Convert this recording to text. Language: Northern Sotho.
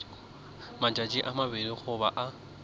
matšatši a mabedi goba a